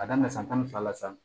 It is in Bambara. Ka daminɛ san tan ni fila la sisan